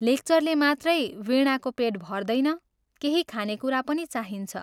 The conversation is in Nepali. लेक्चरले मात्रै वीणाको पेट भर्दैन, केही खाने कुरा पनि चाहिन्छ।